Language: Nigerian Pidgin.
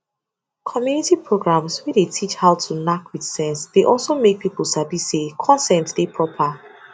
community programs wey dey teach how to knack with sense dey also make people sabi say consent dey proper